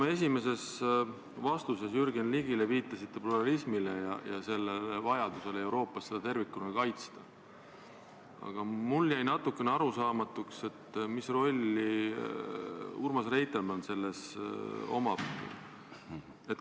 Kui te esimeses vastuses Jürgen Ligile viitasite pluralismile ja vajadusele seda Euroopas tervikuna kaitsta, siis jäi mulle natukene arusaamatuks, mis roll on selles Urmas Reitelmannil.